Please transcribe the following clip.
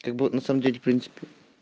как бы на самом деле в принципе